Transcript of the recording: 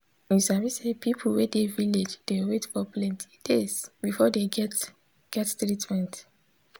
you sabi say people wey dey village dey wait for plenti days before dey get get treatment.